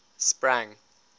sprang